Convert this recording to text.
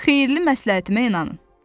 Xeyirli məsləhətimə inanın.